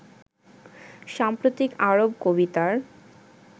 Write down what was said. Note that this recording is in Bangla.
সাম্প্রতিক আরব কবিতার